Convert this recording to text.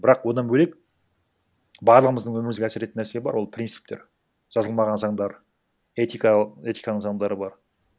бірақ одан бөлек барлығымыздың өмірімізге әсер ететін нәрсе бар ол принциптер жазылмаған заңдар этиканың заңдары бар